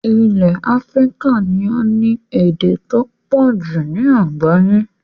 Ilẹ̀ Africa ni o ni èdè to pọ̀jù ni àgbáyẹ́